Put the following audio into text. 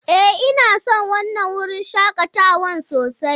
Ee, ina son wannan wurin shakatawan sosai.